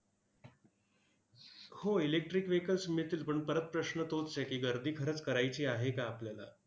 होय. electric vehicles मिळतील, पण परत प्रश्न तोच आहे की, गर्दी खरंच करायची आहे का आपल्याला?